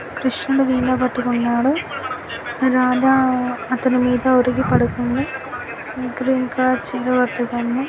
కృష్ణుడు వీణ పట్టుకోన్నాడు. రాధ-ఆ అతను మీద వరిగి పడుకుంది. ఇక్కడ ఇంకా